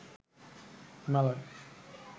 Himalaya